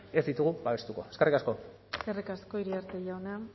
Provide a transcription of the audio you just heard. ez ditugu babestuko eskerrik asko eskerrik asko iriarte jauna